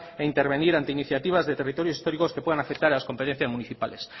e intervenir ante iniciativas de territorios históricos que puedan afectar a las competencias municipales